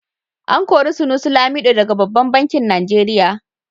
A kori Sunusi Lamido daga babban banki Nigeria.